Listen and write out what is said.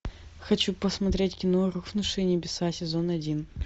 хочу посмотреть кино рухнувшие небеса сезон один